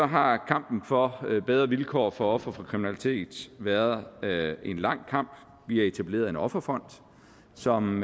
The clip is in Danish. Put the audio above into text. har kampen for bedre vilkår for ofre for kriminalitet været en lang kamp vi har etableret en offerfond som